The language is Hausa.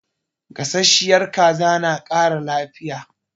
Gasasshiyar kaza na ƙara lafiya.